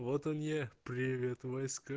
вот он я привет войска